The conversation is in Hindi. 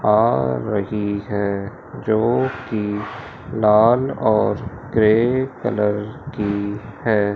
आ रही हैं जो की लाल और ग्रे कलर की हैं।